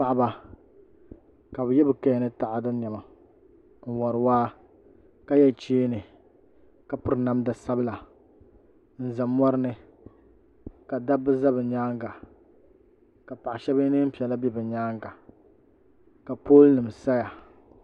Paɣaba ka bi yɛ bi kaya ni taada niɛma n wori waa ka yɛ cheeni ka piri namda sabila n ʒɛ mɔri ni ka dabba ʒɛ bi nyaanga ka paɣa shab yɛ neen piɛla bɛ bi myaanga ka pool nim saya